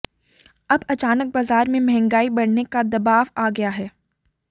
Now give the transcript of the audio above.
अब अचानक बाजार में महंगाई बढ़ने का दबाव आ गया है